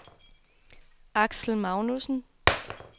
Aksel Magnussen